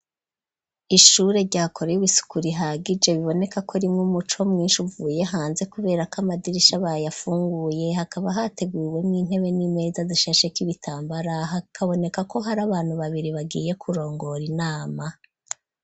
Ishure ryakora isuku rihagije biboneka ko ririmwo umuco mwinshi uvuye hanze kubera ko amadirisha bayafunguye hakaba hateguriwe mu intebe n'impeza zishasheko ibitambara hakabonekako hari abantu babiri bagiye kurongora inama.